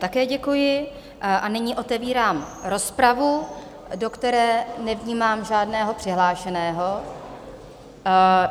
Také děkuji a nyní otevírám rozpravu, do které nevnímám žádného přihlášeného.